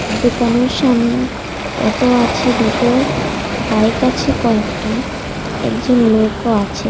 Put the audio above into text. দোকানের সামনে অটো আছে দুটো বাইক আছে কয়েকটা একজন লোকও আছে।